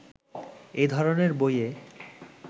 এ ধরনের বইয়ে